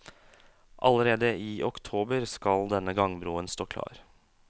Allerede i oktober skal denne gangbroen stå klar.